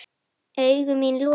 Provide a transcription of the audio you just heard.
Augu mín lokuð.